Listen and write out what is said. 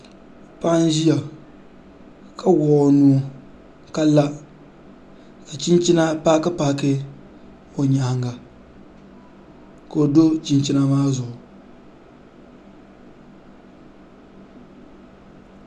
Paɣa n ʒiya ka wuɣu o nuu ka la ka chinchina paaki paaki o nyaanga ka o do chinchina maa zuɣu